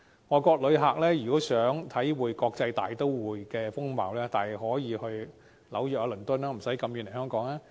外國旅客如想體會國際大都會的風貌，大可到紐約、倫敦，不用長途跋涉來香港。